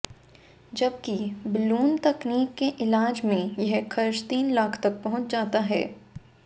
जबकि बलून तकनीक से इलाज में यह खर्च तीन लाख तक पहुंच जाता है